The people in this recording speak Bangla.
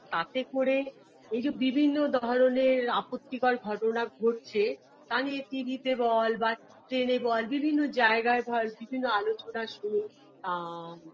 তাতে করে এই যে বিভিন্ন ধরনের আপত্তিকর ঘটনা ঘটছে তা নিয়ে tv তে বল বা train -এ বল বিভিন্ন জায়গায় ধর বিভিন্ন আলোচনা শুনি আ